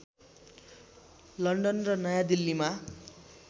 London र नयाँ दिल्लीमा